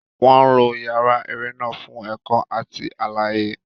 Wọn lo yàrá eré náà fún ẹ̀kọ́ àti àlàyé.